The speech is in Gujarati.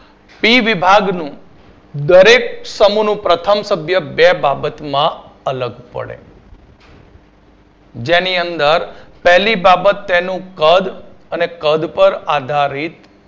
પી વિભાગનું દરેક સમુહનું પ્રથમ સભ્ય બે બાબતમાં અલગ પડે જેની અંદર પહેલી બાબત તેનું કદ અને કદ પર આધારિત